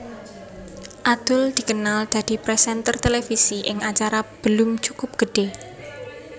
Adul dikenal dadi présènter televisi ing acara Belum Cukup Gede